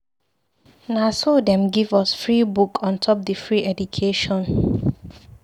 Na so dem give us free book on top di free education.